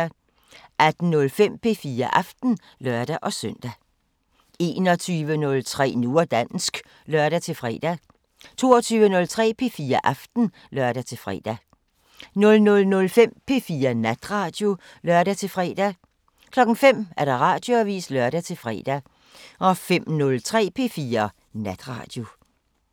18:05: P4 Aften (lør-søn) 21:03: Nu og dansk (lør-fre) 22:03: P4 Aften (lør-fre) 00:05: P4 Natradio (lør-fre) 05:00: Radioavisen (lør-fre) 05:03: P4 Natradio